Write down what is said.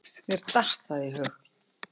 Mér datt það í hug.